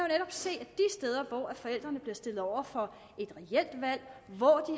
se at netop steder hvor forældrene bliver stillet over for et reelt valg hvor